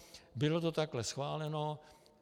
Bylo to takhle schváleno.